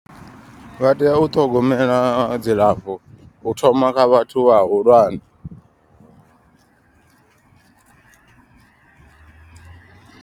Vha tea u ṱhogomela dzilafho u thoma kha vhathu vhahulwane.